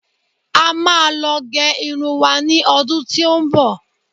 a máa lo ge Irun wa ni ọdún tí o n bo